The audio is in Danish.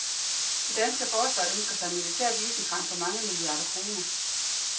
Det danske forsvar ønsker sig militært isenkram for mange milliarder kroner.